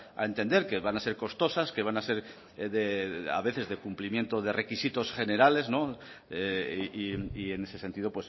a entender que van a ser costosas que van a ser de a veces de cumplimiento de requisitos generales no y en ese sentido